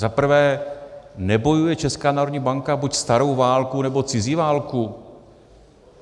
Za prvé, nebojuje Česká národní banka buď starou válku, nebo cizí válku?